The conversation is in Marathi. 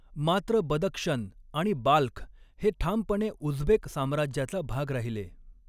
मात्र, बदक्षन आणि बाल्ख हे ठामपणे उझबेक साम्राज्याचा भाग राहिले.